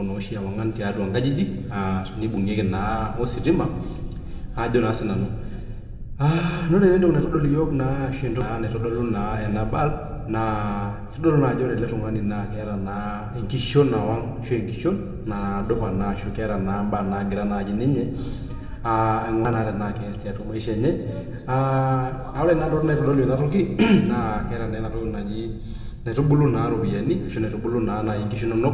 enoshi naishoru ewang'am tenibungieki ositima ore entoki naitoduli ena bulb naa kitodolu Ajo ore ele tung'ani netaa enkishon ketaa naa mbaa nagiraa aing'uraa tenaa keas tiatua maisha enye ore ntokitin naitodolu ena toki naa ntokitin nkaitubulu ropiani ashu naitubulu enkishu enono